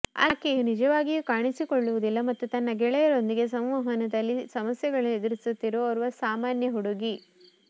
ಆಕೆಯು ನಿಜವಾಗಿಯೂ ಕಾಣಿಸಿಕೊಳ್ಳುವುದಿಲ್ಲ ಮತ್ತು ತನ್ನ ಗೆಳೆಯರೊಂದಿಗೆ ಸಂವಹನದಲ್ಲಿ ಸಮಸ್ಯೆಗಳನ್ನು ಎದುರಿಸುತ್ತಿರುವ ಓರ್ವ ಸಾಮಾನ್ಯ ಹುಡುಗಿ